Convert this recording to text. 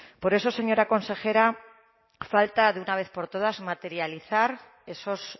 por eso señora consejera falta de una vez por todas materializar esos